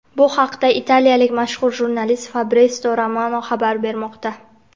Bu haqda italiyalik mashhur jurnalist Fabritsio Romano xabar bermoqda.